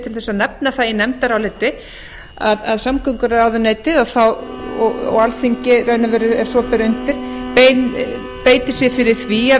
til að nefna það í nefndaráliti að samgönguráðuneytið og alþingi í raun og veru ef svo ber undir beiti sér fyrir því að